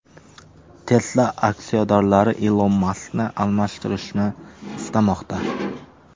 Tesla aksiyadorlari Ilon Maskni almashtirishni istamoqda.